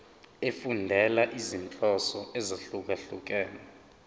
efundela izinhloso ezahlukehlukene